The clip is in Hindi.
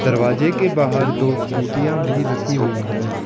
दरवाजे के बाहर दो स्कूटियां भी रखी हुई है।